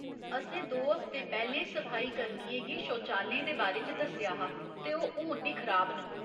असें दो हफ्ते पैह्‌लें सफाई कर्मियें गी शौचालयें दे बारे च दस्सेआ हा ते ओह् हुन बी खराब न।